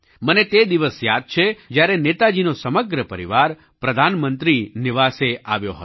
મને તે દિવસ યાદ છે જ્યારે નેતાજીનો સમગ્ર પરિવાર પ્રધાનમંત્રી નિવાસ આવ્યો હતો